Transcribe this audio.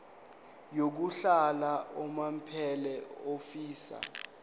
yokuhlala unomphela ofisa